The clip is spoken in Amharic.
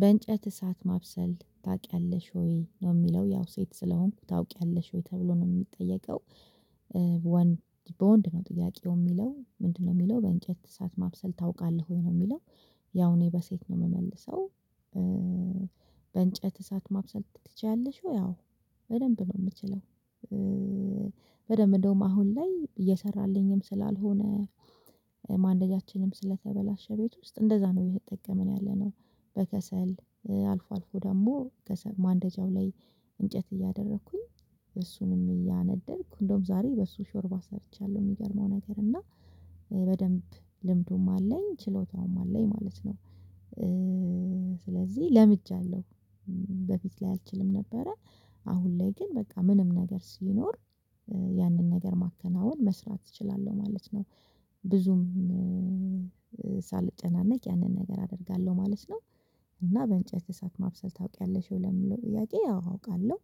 በእንጨት እሳት ማብሰል ታቂያለሽ ወይ ነው የሚለው ያው ሴት ስለሆንኩ ታውቂያለሽ ወይ ተብሎ ነው ሚጠየቀው? ወንድ በወንድ ነው ጥያቄው ሚለው ምንድነው? ሚለው በእንጨት እሳት ማብሰል ታውቃለ ወይ ነው ሚለው? ያው እኔ በሴት ነው ምመልሰው። በእንጨት እሳት ማብሰል ትችያለሽ ወይ? አው በደንብ ነው ምችለው። በደንብ እንደውም አሁን ላይ እየሰራልኝም ስላልሆነ። ማንደጃችንም ስለተበላሸ ቤት ውስጥ እንደዛ ነው እየተጠቀምን ያለነው። በከሰል አልፎ አልፎ ደሞ ከሰል ማንደጃው ላይ። እንጨት እያደረኩኝ በሱም እያነደድኩ እንደውም ዛሬ በሱ ሾርባ ሰርቻለሁ። ሚገርመው ነገር እና። በደንብ ልምዱም አለኝ ችሎታውም አለኝ ማለት ነው። ስለዚህ ለምጃለው። በፊት ላይ አልችልም ነበረ። አሁን ላይ ግን በቃ ምንም ነገር ሲኖር ያንን ነገር ማከናወን መስራት እችላለሁ ማለት ነው። ብዙም ሳልጨናነቅ ያንን ነገር አደርጋለሁ ማለት ነው። እና በእንጨት እሳት ማብሰል ታውቂያለሽ ለሚለው ጥያቄ አው አውቃለሁ።